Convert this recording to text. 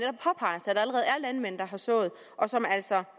landmænd der har sået og som altså